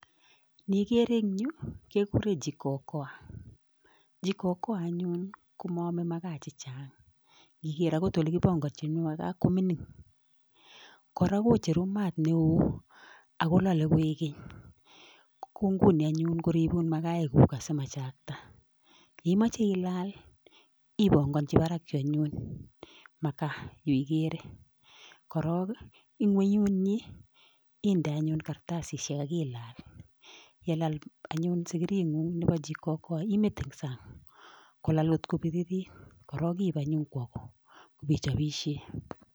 Nekere engyu kekure jikokoa, jikokoa anyun ko maame makaa che chang, ngiker akot olekipanganchin makaa ko mining, kora kocheru maat ne oo akolale koekeny, ko nguni anyun koribun makaikuk asimachakta, ye imache ilaal ipongonchi barakyu anyun makaa yu ikere, korok ii inguiyunyi inde anyun kartasisiek ak ilaal, ye laal anyun sikiringung nebo jikokoa imete ing sang kolal kot ko biririt, korok iip anyun kwo go ipichobisie.